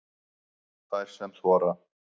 Þær sem þora